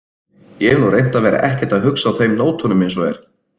Ég hef nú reynt að vera ekkert að hugsa á þeim nótunum eins og er.